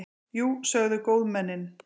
Jú, sögðu góðmennin.